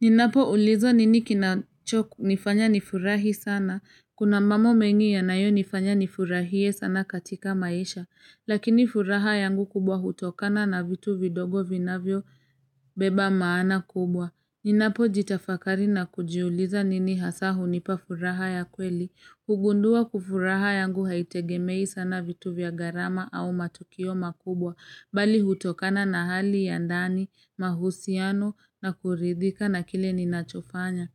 Ninapoulizwa nini kinachonifanya nifurahi sana. Kuna mambo mengi yanayo nifanya nifurahie sana katika maisha. Lakini furaha yangu kubwa hutokana na vitu vidogo vinavyobeba maana kubwa. Ninapojitafakari na kujiuliza nini hasa hunipa furaha ya kweli, hugundua furaha yangu haitegemei sana vitu vya gharama au matukio makubwa, bali hutokana na hali ya ndani, mahusiano na kuridhika na kile ninachofanya.